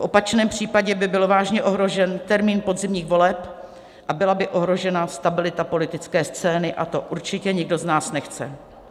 V opačném případě by byl vážně ohrožen termín podzimních voleb a byla by ohrožena stabilita politické scény, a to určitě nikdo z nás nechce.